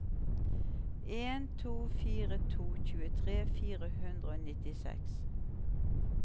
en to fire to tjuetre fire hundre og nittiseks